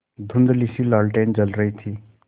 धुँधलीसी लालटेन जल रही थी